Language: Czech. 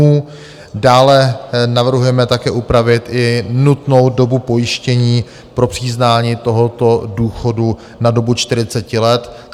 Dále navrhujeme také upravit i nutnou dobu pojištění pro přiznání tohoto důchodu na dobu 40 let.